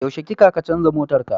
Yaushe kika kacanza motarka?